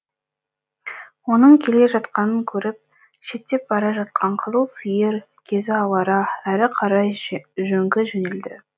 оның келе жатқанын көріп шеттеп бара жатқан қызыл сиыр кезі алара әрі қарай жөңки жөнелді